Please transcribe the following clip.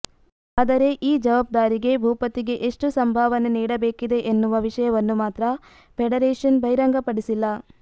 ಆದರೆ ಈ ಜವಾಬ್ದಾರಿಗೆ ಭೂಪತಿಗೆ ಎಷ್ಟು ಸಂಭಾವನೆ ನೀಡಬೇಕಿದೆ ಎನ್ನುವ ವಿಷಯವನ್ನು ಮಾತ್ರ ಫೆಡರೇಷನ್ ಬಹಿರಂಗಪಡಿಸಿಲ್ಲ